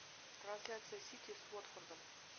трансляция сити с уотфордом